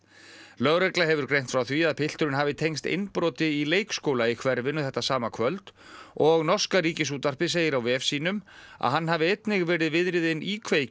lögregla hefur greint frá því að pilturinn hafi tengst innbroti í leikskóla í hverfinu þetta sama kvöld og norska Ríkisútvarpið segir á vef sínum að hann hafi einnig verið viðriðinn íkveikju